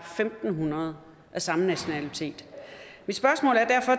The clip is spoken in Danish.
fem hundrede af samme nationalitet mit spørgsmål